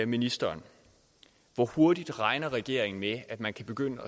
ministeren hvor hurtigt regner regeringen med at man kan begynde